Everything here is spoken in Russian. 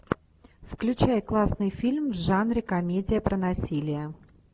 включай классный фильм в жанре комедия про насилие